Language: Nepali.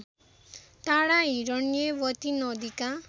टाढा हिरण्यवती नदीका